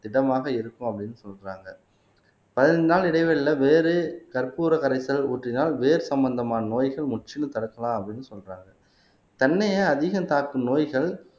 திடமாக இருக்கும் அப்படீன்னு சொல்றாங்க பதினைந்து நாள் இடைவெளியில வேறு கற்பூர கரைசல் ஊற்றினால் வேர் சம்பந்தமான நோய்கள் முற்றிலும் தடுக்கலாம் அப்படின்னு சொல்றாங்க தென்னையே அதிகம் தாக்கும் நோய்கள்